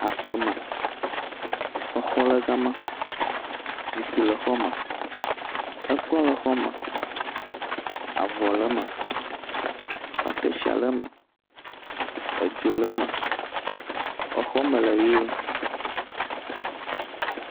Aƒeme, exɔ le gama. Zikpui le xɔ me. Ekplɔ le xɔ me, avɔ le em, akeshia le eme, edzo le me. Exɔ mele ʋi.